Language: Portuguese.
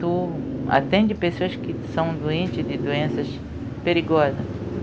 Tu atende pessoas que são doente de doenças perigosa.